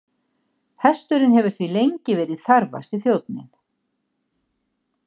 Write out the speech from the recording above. Hesturinn hefur því lengi verið þarfasti þjónninn.